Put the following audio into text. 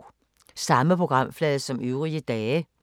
Samme programflade som øvrige dage